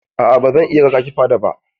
A'a ba zan iya raƙa ki fada ba.